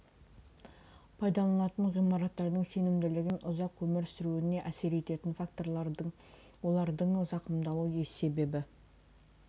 пайдаланатын ғимараттардың сенімділігі мен ұзақ өмір сүруіне әсер ететін факторлар олардың зақымдалу себебі